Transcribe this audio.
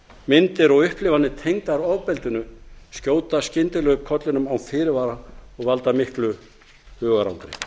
þegarmyndir og upplifanir tengdar ofbeldinu skjóta skyndilega upp kollinum án fyrirvara og valda miklu hugarangri